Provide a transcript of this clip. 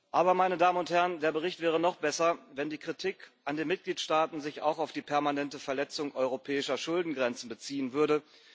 Aber der Bericht wäre noch besser, wenn die Kritik an den Mitgliedstaaten sich auch auf die permanente Verletzung europäischer Schuldengrenzen beziehen würde.